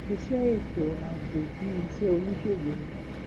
iṣẹ ètò ààbò bíi iṣẹ oníṣègùn ni